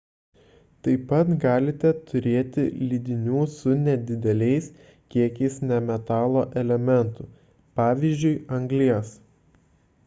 taip pat galite turėti lydinių su nedideliais kiekiais nemetalo elementų pvz. anglies